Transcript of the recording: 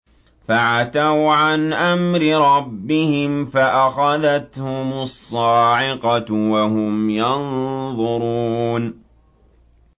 فَعَتَوْا عَنْ أَمْرِ رَبِّهِمْ فَأَخَذَتْهُمُ الصَّاعِقَةُ وَهُمْ يَنظُرُونَ